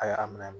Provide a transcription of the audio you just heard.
A y'a minɛ